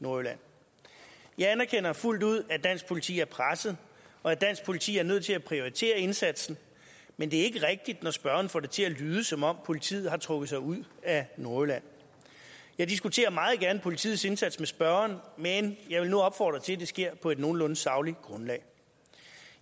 nordjylland jeg anerkender fuldt ud at dansk politi er presset og at dansk politi er nødt til at prioritere indsatsen men det er ikke rigtigt når spørgeren får det til at lyde som om politiet har trukket sig ud af nordjylland jeg diskuterer meget gerne politiets indsats med spørgeren men jeg vil nu opfordre til at det sker på et nogenlunde sagligt grundlag